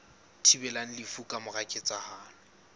thibelang lefu ka mora ketsahalo